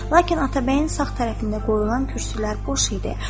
Lakin Atabəyin sağ tərəfində qoyulan kürsülər boş idi.